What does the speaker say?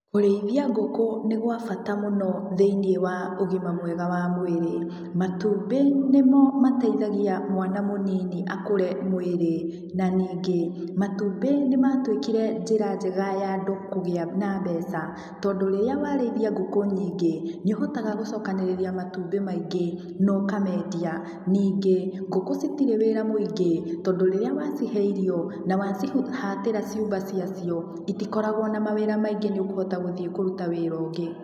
Kũrĩithia ngũkũ nĩ gwa bata mũno thĩiniĩ wa ũgima mwega wa mwĩrĩ. Matumbĩ nĩmo mateithagia, mwana mũnini akũre mwĩrĩ. Na ningĩ, matumbĩ nĩmatuĩkire njĩra njega ya andũ kũgĩa na mbeca, tondũ rĩrĩa warĩithia ngũkũ nyingĩ, nĩũhotaga gucokanĩrĩria matumbĩ maingĩ, no ũkamendia. Ningĩ, ngũkũ citirĩ wĩra mũingĩ, tondũ rĩrĩa wacihe irio, na wacihatĩra ciumba ciacio, itikoragũo na mawĩra maingĩ nĩũkũhota gũthiĩ kũruta wĩra ũngĩ.